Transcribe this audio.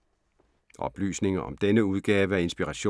Oplysninger om denne udgave af Inspiration